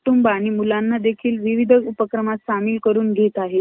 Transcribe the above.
इथपर्यंत कोणता picture आहे शाहरुख खानचा तो पण सध्या news वर चालूये.